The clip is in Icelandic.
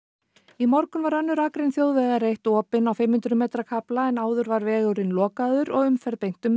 í morgun var önnur akrein þjóðvegar eitt opin á fimm hundruð metra kafla en áður var vegurinn lokaður og umferð beint um